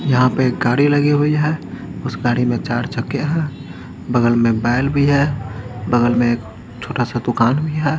यहाँ पे एक गाड़ी लगी हुई है उस गाड़ी में चार चक्के हैं बगल में बैल भी है बगल में छोटा सा दुकान भी है।